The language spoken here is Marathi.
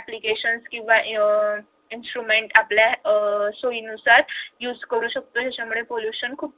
applications किंवा instruments आपल्या सोयीनुसार use करू शकतोय याच्यामुळे खूप